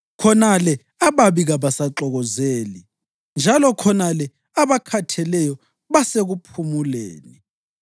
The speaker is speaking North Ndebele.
Khonale ababi kabasaxokozeli, njalo khonale abakhatheleyo basekuphumuleni.